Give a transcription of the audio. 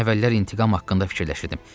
Mən əvvəllər intiqam haqqında fikirləşirdim.